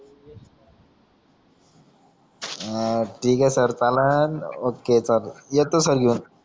हा ठीके sir challan okay येतो सर घेऊन